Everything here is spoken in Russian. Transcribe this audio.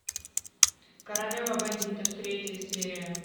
королева бандитов третья серия